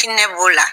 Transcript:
Hinɛ b'o la